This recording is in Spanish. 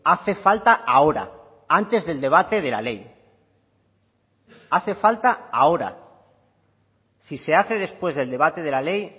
hace falta ahora antes del debate de la ley hace falta ahora si se hace después del debate de la ley